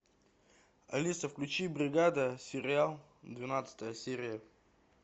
алиса включи бригада сериал двенадцатая серия